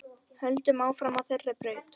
Höldum áfram á þeirri braut.